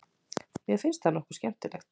Mér finnst það nokkuð skemmtilegt.